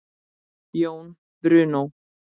Jón Bruno.